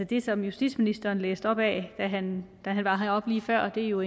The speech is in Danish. det som justitsministeren læste op af da han var heroppe lige før jo